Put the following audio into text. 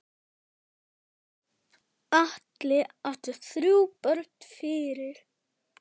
Atli átti þrjú börn fyrir.